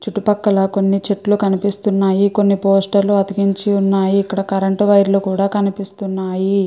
చుట్టూ పక్కల కొన్ని చెట్లు కనిపిస్తున్నాయి కొన్ని పోస్టర్ లు అతికించి ఉన్నాయి ఇక్కడ కరెంట్ వైర్ లు కూడా కనిపిస్తున్నాయి.